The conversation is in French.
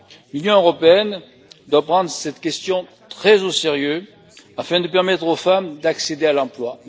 L'Union européenne doit prendre cette question très au sérieux, afin de permettre aux femmes d'accéder à l'emploi.